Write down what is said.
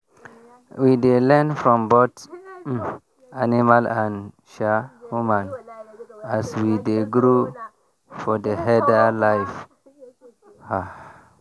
we dey learn from both um animal and um human as we dey grow for for herder life. um